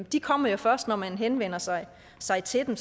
de kommer jo først når man henvender sig sig til dem